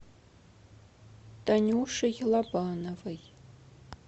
танюшей лобановой